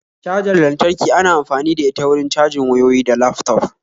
Cajar lantarki ana amfani da ita wurin cajin wayyoyi da laftop